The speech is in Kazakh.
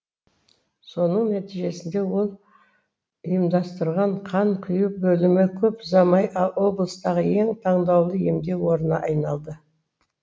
соның нәтижесінде ол ұйымдастырған қан құю бөлімі көп ұзамай облыстағы ең таңдаулы емдеу орнына айналды